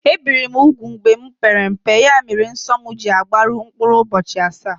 Ebìri m úgwù mgbe m pere mpe, ya mere nsọ m ji agbaru mkpụrụ ụbọchị asaá